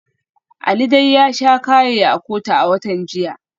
Ali dai ya sha kaye a kotu a watan jiya.